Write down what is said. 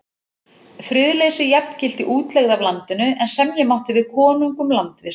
Friðleysi jafngilti útlegð af landinu, en semja mátti við konung um landvist.